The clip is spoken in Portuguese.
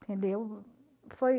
Entendeu? Foi